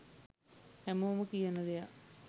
හැමෝම කියන දෙයක්.